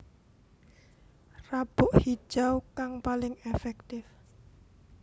Rabuk Hijau kang paling èfèktif